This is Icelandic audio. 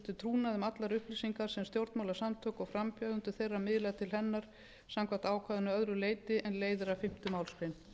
um allar upplýsingar sem stjórnmálasamtök og frambjóðendur miðla til hennar samkvæmt ákvæðinu að öðru leyti er leiðir af fimmtu málsgrein